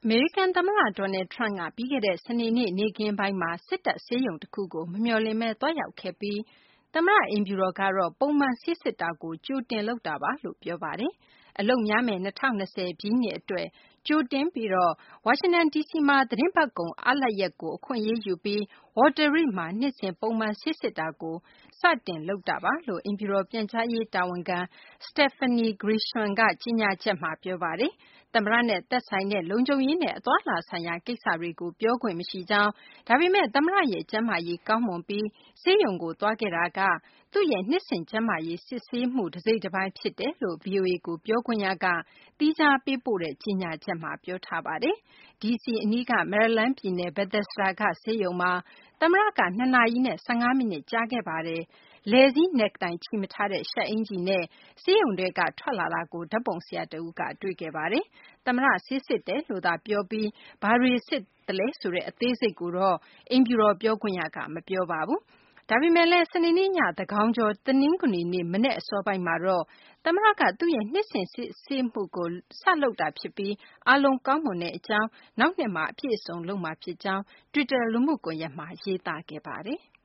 မေရိကန်သမ္မတ Donald Trump က ပြီးခဲ့တဲ့ စနေနေ့ နေ့ခင်းပိုင်းမှာ စစ်တပ် ဆေးရုံတခုကို မမျှော်လင့်ဘဲ သွားရောက်ခဲ့ပြီး သမ္မတအိမ်ဖြူတော်ကတော့ ပုံမှန် ဆေးစစ်တာကို ကြိုတင်လုပ်တာပါလို့ ပြောဆိုထားပါတယ်။ အလုပ်များမယ့် ၂၀၂၀ ပြည့်နှစ်အတွက် ကြိုတင်ပြီးတော့ ဝါရှင်တန်ဒီစီမှာ ဒီသီတင်းပတ်ကုန် အားရက်ကို အခွင့်အရေးယူပြီး Walter Reed မှာ နှစ်စဉ် ပုံမှန် ဆေးစစ်တာကို စပြီး လုပ်တာပါလို့ အိမ်ဖြူတော် ပြန်ကြားရေးတာဝန်ခံ Stephanie Grisham က ကြေညာချက်မှာ ပြောဆိုထားပါတယ်။ သမ္မတနဲ့သက်ဆိုင်တဲ့ လုံခြုံရေးနဲ့ အသွားအလာဆိုင်ရာ ကိစ္စတွေကို ပြောခွင့်မရှိကြောင်း၊ ဒါပေမယ့် သမ္မတရဲ့ ကျန်းမာရေး ကောင်းမွန်ပြီး ဆေးရုံကို သွားခဲ့တာက သူ့ရဲ့ နှစ်စဉ် ကျန်းမာရေးစစ်ဆေးမှု တစိတ်တပိုင်း ဖြစ်ပါတယ်လို့ ဗွီအိုအေကို ပြောခွင့်ရက သီးခြားပေးဖို့တဲ့ ကြေညာချက်မှာ ပြောဆိုထားပါတယ်။ ဒီစီအနီးက မယ်ရီလန်းပြည်နယ် Bethesda က ဆေးရုံမှာ သမ္မတက ၂ နာရီနဲ့ ၁၅ မိနစ် ကြာမြင့်ခဲ့ပါတယ်။ လည်စည်း Necktie ချည်မထားတဲ့ ရှပ်အင်္ကျီနဲ့ သမ္မတ ဆေးရုံထဲက ထွက်လာတာကို ဓာတ်ပုံဆရာတဦးက တွေ့ခဲ့ပါတယ်။ သမ္မတ ဆေးစစ်တယ်လို့သာ ပြောပြီး ဘာတွေစစ်ခဲ့လဲဆိုတဲ့ အသေးစိတ်ကိုတော့ အိမ်ဖြူတော် ပြောခွင့်ရက မပြောပါဘူး။ ဒါပေမယ့်လည်း စနေနေ့ည သန်းခေါင်ကျော် တနင်္ဂနွေနေ့မနက် အစောပိုင်းမှာတော့ သမ္မတက သူ့ရဲ့ နှစ်စဉ် ဆေးစစ်မှုကို စလုပ်ခဲ့တာဖြစ်ပြီး အားလုံးကောင်းမွန်တဲ့အကြောင်း၊ နောက်နှစ်မှာ အပြည့်အစုံ လုပ်မှာဖြစ်ကြောင်း တွစ်တာလူမှုကွန်ရက်မှာ ရေးသားခဲ့ပါတယ်။